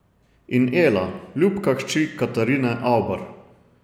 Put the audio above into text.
In Ela, ljubka hči Katarine Avbar.